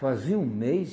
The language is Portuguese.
Fazia um mês,